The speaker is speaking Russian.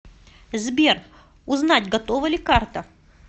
сбер узнать готова ли карта